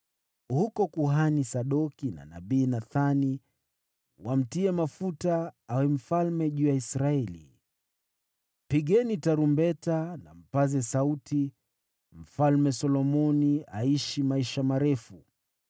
Huko kuhani Sadoki na nabii Nathani wamtie mafuta awe mfalme juu ya Israeli. Pigeni tarumbeta na mpaze sauti, ‘Mfalme Solomoni aishi maisha marefu!’